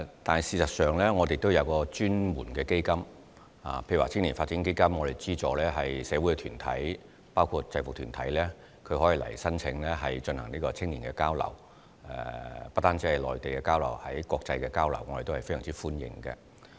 但事實上，我們也設有專門的基金，例如青年發展基金也有資助一些社會團體——包括制服團體也可以申請基金以資助青年的交流計劃，而且不止是與內地的交流，國際間的交流計劃我們也是非常歡迎的。